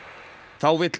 þá vill